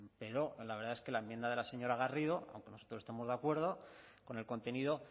pero la verdad es que la enmienda de la señora garrido aunque nosotros estemos de acuerdo con el contenido